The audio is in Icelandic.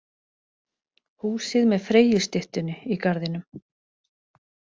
Húsið með Freyjustyttunni í garðinum.